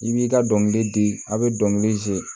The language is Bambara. I b'i ka dɔnkili di a be dɔnkili